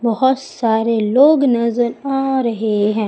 बहोत सारे लोग नजर आ रहे हैं।